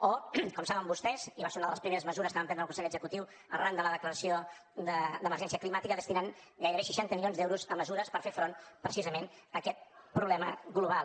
o com saben vostès i va ser una de les primeres mesures que va prendre el consell executiu arran de la declaració d’emergència climàtica destinant gairebé seixanta milions d’euros a mesures per fer front precisament a aquest problema global